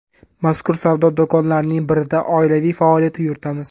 Mazkur savdo do‘konlarining birida oilaviy faoliyat yuritamiz.